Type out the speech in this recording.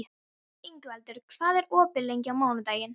Ingvaldur, hvað er opið lengi á mánudaginn?